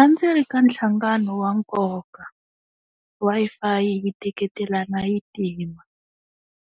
A ndzi ri ka nhlangano wa nkoka Wi-Fi yi teketelana yi tima